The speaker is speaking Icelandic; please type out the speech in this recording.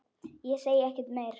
Ég segi ekkert meira.